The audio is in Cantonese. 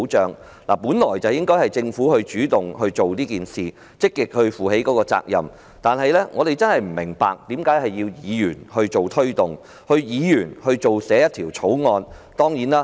政府本來應主動推動此事，積極負起責任，但我真的不明白，為何要由議員推動及草擬法案呢？